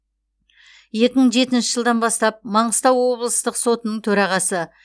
екі мың жетінші жылдан бастап маңғыстау облыстық сотының төрағасы